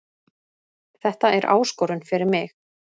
Þetta er áskorun fyrir mig